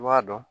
I b'a dɔn